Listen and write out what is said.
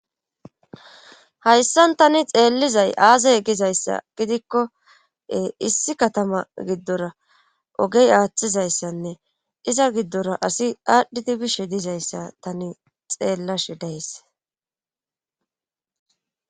Hayssan tani xeellizay aaze gizayssa gidikko issi katama giddora oogey aaththizayssanne iza giddora asi aadhdhidii bishe dizayssa tani xeellashe days